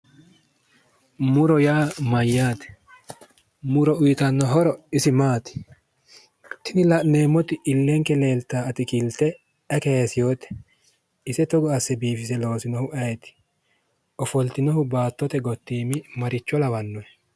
Muro yaa mayyaate? Muri uyitanno horo isi maati? Tini la'neemmoti illenke leeltaa atikilte ayi kayisewote? Ise togi asse biifise loosinohu ayeeti? Ofoltinohu Baattote gottiimi maricho lawannohe?